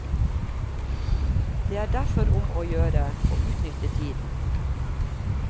Det er derfor om å gjøre å utnytte tiden.